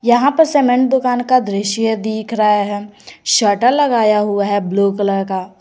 यहां पर सीमेंट दुकान का दृश्य दिख रहा है शटर लगाया हुआ है ब्लू कलर का।